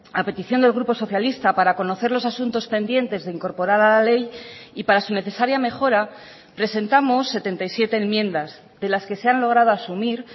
a petición del grupo socialista para conocer los asuntos pendientes de incorporar a la ley y para su necesaria mejora presentamos setenta y siete enmiendas de las que se han logrado asumir